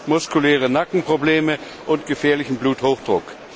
muskuläre Nackenprobleme und gefährlichen Bluthochdruck.